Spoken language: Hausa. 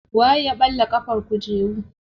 Waye ya ɓalla ƙafar kujeru.